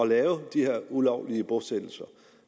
lave de her ulovlige bosættelser